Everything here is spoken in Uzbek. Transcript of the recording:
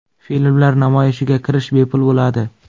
Filmlar namoyishiga kirish bepul bo‘ladi.